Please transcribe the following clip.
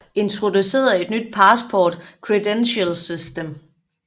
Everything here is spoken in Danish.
Introducerede et nyt Passport credentials system